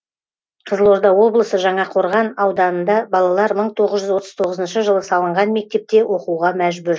қызылорда облысы жаңақорған ауданында балалар мың тоғыз жүз отыз тоғызыншы жылы салынған мектепте оқуға мәжбүр